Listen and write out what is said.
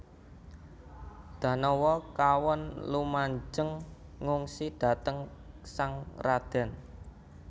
Danawa kawon lumajeng ngungsi dhateng sang radèn